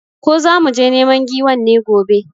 Ko zamu je neman giwan ne gobe?